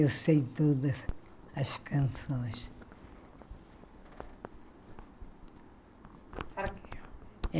Eu sei todas as canções.